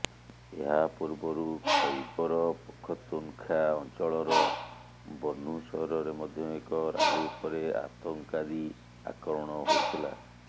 ଏହା ପୁର୍ବରୁ ଖୈବର ପଖତୁନ୍ଖା ଅଞ୍ଚଳର ବନ୍ନୁ ସହରରେ ମଧ୍ୟ ଏକ ରାଲି ଉପରେ ଆତଙ୍କାଦୀ ଆକ୍ରମଣ ହୋଇଥିଲା